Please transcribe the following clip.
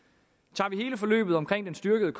tager vi hele forløbet omkring den styrkede